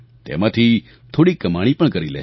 તેમાંથી થોડી કમાણી પણ કરી લે છે